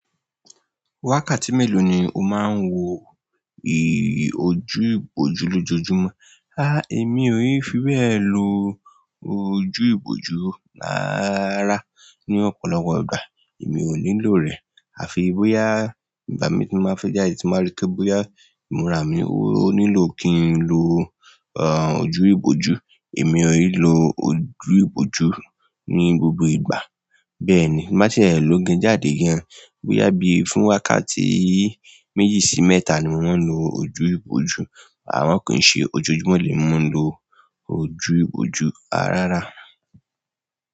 Wákàtí mélòó ni o máa ń wo ojú ìbòjú lójoojúmọ́? Èmi ò í fi be lò. Ojú ìbòjú rárà rárà ní ọ̀pọ̀lọpọ̀ ìgbà. Èmi ò nílò rẹ̀. Àfi bóyá ìgbà mi tí báa fẹ́ jáde, tí báa rí pé bóyá ìmúra mi ò nílò kí n lò ojú ìbòjú. Èmi ò í lò ojú ìbòjú ní gbogbo ìgbà. Bẹ́ẹ̀ ni, tí báa ṣè lo gań jàdé gan, bóyá bí fún wákàtí méjì sí mẹ́ta ni mo má ń lò ojú ìbòjú, a má kì ṣe ojojúmọ́ lè mi máa ń lò ojú ìbòjú, ah rárá.